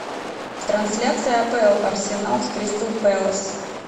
трансляция апл арсенал с кристал пэлас